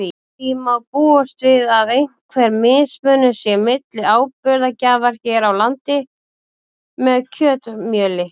Því má búast við að einhver mismunur sé milli áburðargjafar hér á landi með kjötmjöli.